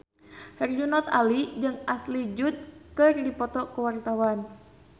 Herjunot Ali jeung Ashley Judd keur dipoto ku wartawan